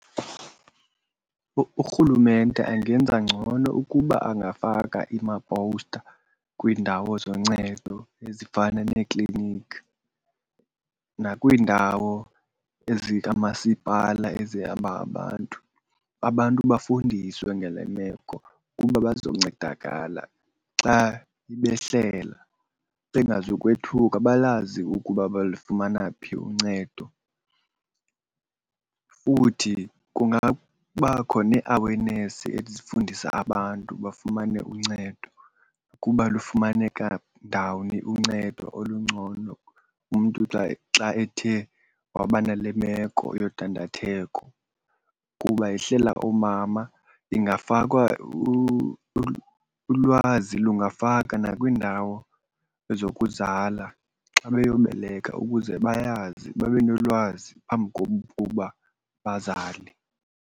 Urhulumente angenza ngcono ukuba angafaka amapowusta kwiindawo zoncedo ezifana neekliniki nakwiindawo ezikamasipala ezihamba ngabantu. Abantu bafundiswe ngale meko ukuba bazoncedakala, xa ibehlela bengazukwethuka balazi ukuba balufumana phi uncedo. Futhi kungabakho nee-awareness ezifundisa abantu bafumane uncedo, ukuba lufumaneka ndawoni uncedo olungcono umntu xa, xa ethe waba nale meko yodandatheko. Kuba yehlela oomama ingafakwa, ulwazi lungafakwa nakwiindawo zokuzala xa beyobeleka ukuze bayazi, babe nolwazi phambi kokuba bazale.